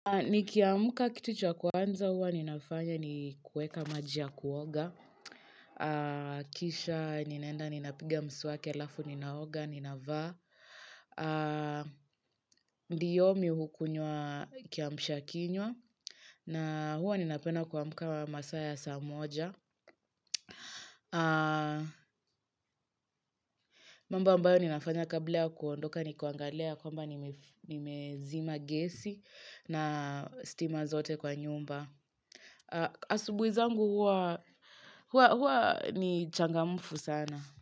Nikiamka kitu cha wa kwanza huwa ninafanya ni kueka maji ya kuoga. Kisha ninaenda ninapiga mswaki alafu ninaoga, ninavaa. Ndio mi hukunywa kiamsha kinywa. Na huwa ninapenda kuamka masaa ya saa moja. Mambo ambayo ninafanya kabla ya kuondoka ni kuangalia ya kwamba nimezima gesi na stima zote kwa nyumba. Asubuhi zangu huwa ni changamfu sana.